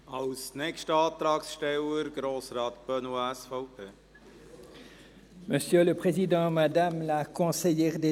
Als nächster Antragsteller spricht Grossrat Benoit, SVP.